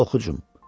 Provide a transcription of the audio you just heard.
Oxucum.